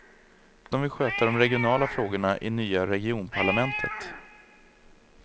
De vill sköta de regionala frågorna i nya regionparlament.